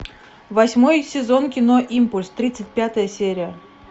восьмой сезон кино импульс тридцать пятая серия